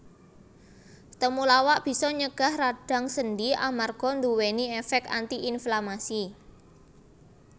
Temulawak bisa nyegah radang sendi amarga nduwèni èfèk anti inflamasi